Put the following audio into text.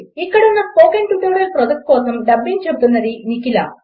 ఇక్కడ ఉన్న నేను స్పోకెన్ ట్యుటోరియల్ ప్రాజెక్ట్ కోసం డబ్బింగ్ చెబుతున్నది నిఖిల